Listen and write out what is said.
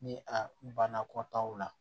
Ni a banna kɔtaw la